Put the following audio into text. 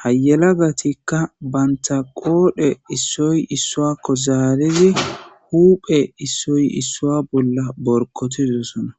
ha yelagatikka banta qoodhe issoy issuakko zaalizi huuphe issoy issua bolla borkotidossona